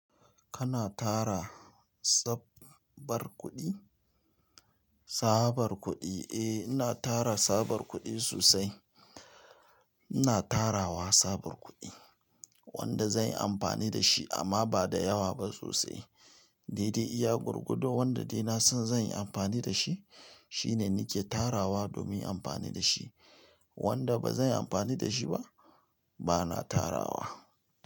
Kana tara tsabbar kuɗi? Sabar kuɗi, eh ina tara sabar kuɗi sosai. Ina tarawa sabar kuɗi, wanda zanyi amfani da shi amma ba da yawa ba sosai. Daidai iya gwargwado, wanda dai na san zanyi amfani da shi, shine nike tarawa domin amfani da shi. Wanda ba zanyi amfani da shi ba, bana tarawa.